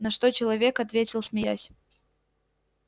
на что человек ответил смеясь